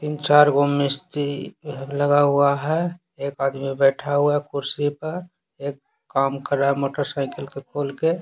तीन -चार गो मिस्ती लगा हुआ है एक आदमी बैठा हुआ है कुर्सी पर एक काम कर रहा है मोटरसाइकिल को खोल के।